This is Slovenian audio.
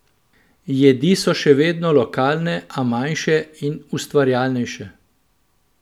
Jedi so še vedno lokalne, a manjše in ustvarjalnejše.